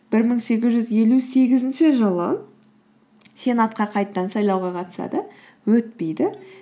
бір мың сегіз жүз елу сегізінші жылы сенатқа қайтадан сайлауға қатысады өтпейді